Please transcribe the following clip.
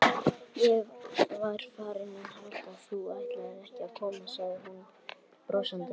Ég var farin að halda að þú ætlaðir ekki að koma sagði hún brosandi.